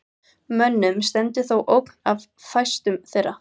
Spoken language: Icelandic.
Mönnum stendur þó ógn af fæstum þeirra.